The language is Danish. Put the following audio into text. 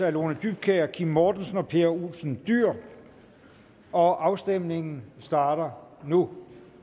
af lone dybkjær kim mortensen og pia olsen dyhr og afstemningen starter nu